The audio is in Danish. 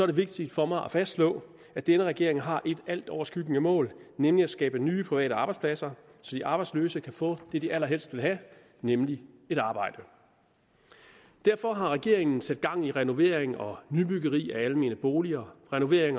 det vigtigt for mig at fastslå at denne regering har et altoverskyggende mål nemlig at skabe nye private arbejdspladser så de arbejdsløse kan få det de allerhelst vil have nemlig et arbejde derfor har regeringen sat gang i renovering og nybyggeri af almene boliger renovering